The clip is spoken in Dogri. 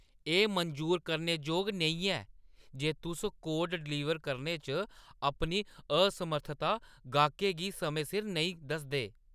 एह् मंजूर करने जोग नेईं ऐ जे तुस कोड डलीवर करने च अपनी असमर्थता गैह्‌कै गी समें सिर नेईं दसदे।